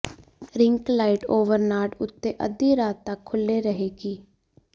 rink light over ਨਾਟ ਉੱਤੇ ਅੱਧੀ ਰਾਤ ਤਕ ਖੁੱਲ੍ਹੇ ਰਹੇਗੀ